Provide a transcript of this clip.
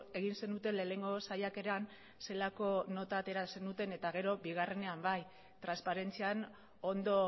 egin zenuten lehenengo saiakeran zelako nota atera zenuten eta gero bigarrenean bai transparentzian ondo